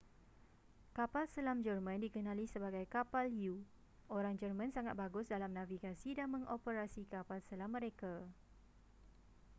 kapal selam jerman dikenali sebagai kapal u orang jerman sangat bagus dalam navigasi dan mengoperasi kapal selam mereka